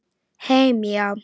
Heim, já.